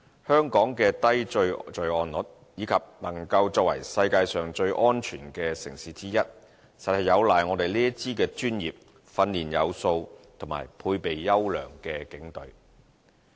香港的低罪案率，以及能夠作為世界上最安全的城市之一，實有賴我們這支專業、訓練有素和配備優良的警隊。